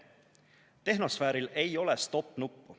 Tehnosfääril ei ole stopp-nuppu.